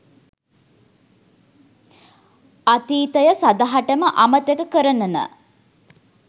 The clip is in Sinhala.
අතීතය සදහටම අමතක කරනන